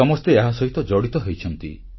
ସମସ୍ତେ ଏହାସହିତ ଜଡ଼ିତ ହୋଇଛନ୍ତି